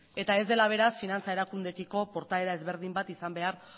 eta ez dela beraz finantza erakundeekiko portaera ezberdin bat izan behar